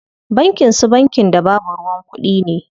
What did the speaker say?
Bankin su bankin da babu ruwan kuɗi?